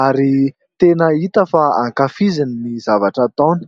ary tena hita fa ankafiziny ny zavatra ataony.